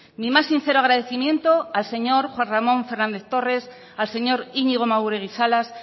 mi más sincero agradecimiento al señor juan ramón fernández torres al señor iñigo maguregi salas